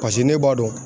Paseke ne b'a dɔn